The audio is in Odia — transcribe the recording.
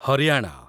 ହରିୟାଣା